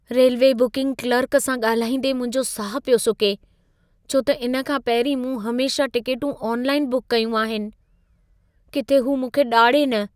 Railway booking clerk सां ॻाल्हाईंदे मुंहिंजो साहु पियो सुके, छो त इन खां पहिरीं मूं हमेशह टिकेटूं ऑनलाइन बुक कयूं आहिनि। किथे हू मूंखे ॾाढ़े न!